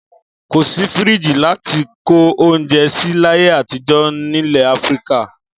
Kò sí fíríjì láti kó oúnjẹ sí láyé àtijọ́ nílẹ̀ Áfíríkà.